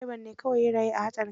Dreban ne kawai ya rayu a hatsarin.